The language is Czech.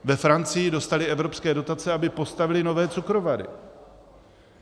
Ve Francii dostali evropské dotace, aby postavili nové cukrovary.